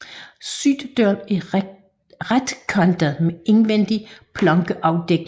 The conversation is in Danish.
Syddøren er retkantet med indvendig plankeafdækning